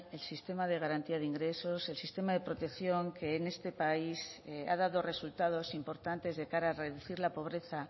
el sistema de garantía de ingresos el sistema de protección que en este país ha dado resultados importantes de cara a reducir la pobreza